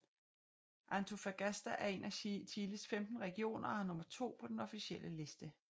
Antofagasta er en af Chiles femten regioner og har nummer II på den officielle liste